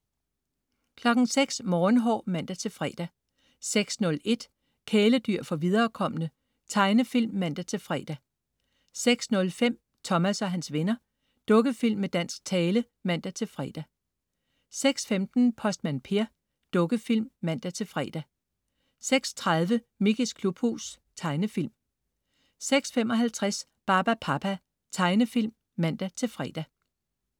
06.00 Morgenhår (man-fre) 06.01 Kæledyr for viderekomne. Tegnefilm (man-fre) 06.05 Thomas og hans venner. Dukkefilm med dansk tale (man-fre) 06.15 Postmand Per. Dukkefilm (man-fre) 06.30 Mickeys klubhus. Tegnefilm 06.55 Barbapapa. Tegnefilm (man-fre)